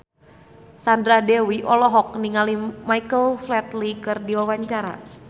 Sandra Dewi olohok ningali Michael Flatley keur diwawancara